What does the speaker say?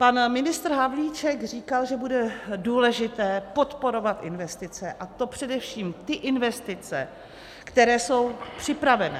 Pan ministr Havlíček říkal, že bude důležité podporovat investice, a to především ty investice, které jsou připravené.